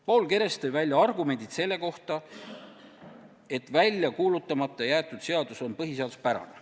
Paul Keres tõi välja argumendid selle kohta, et välja kuulutamata jäetud seadus on põhiseaduspärane.